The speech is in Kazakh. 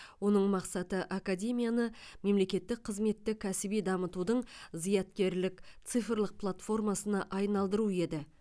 оның мақсаты академияны мемлекеттік қызметті кәсіби дамытудың зияткерлік цифрлық платформасына айналдыру еді